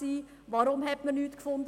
Weshalb hat man nichts gefunden?